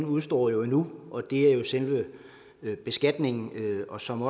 udestår endnu og det er jo selve beskatningen og som